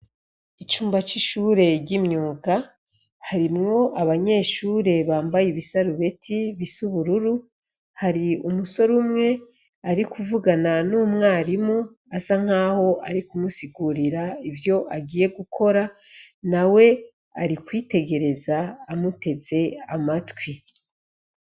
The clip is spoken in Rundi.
Icumba c'ishure ry'imyuga, harimwo abanyeshure bambaye ibisarubeti bisa ubururu, hari umusore umwe ari kuvugana n'umwarimu, asa nkaho ari kumusigurira ivyo agiye gukora, nawe ari kwitegereza amuteze amatwi.